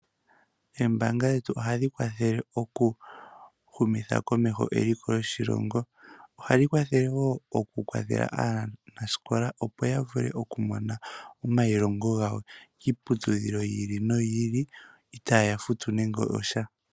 Oombaanga dhetu ohadhi kwathele okuhumitha komeho eliko lyoshilongo. Ohadhi kwathele wo okukwathela aanasikola, opo ya vule okumona omayilongo gawo kiiputudhilo yi ili noyi ili itaya futu nande osha.